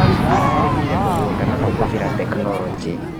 Ararĩmire mũgũnda na kũhũthĩra tekinologĩ.